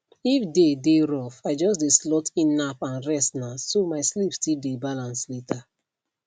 if day dey rough i just dey slot in nap and and restna so my sleep still dey balance later